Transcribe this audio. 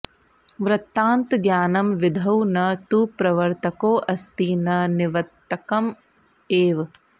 वृत्तान्तज्ञानं विधौ न तु प्रवर्त्तकोऽस्ति न निवत्तंक एव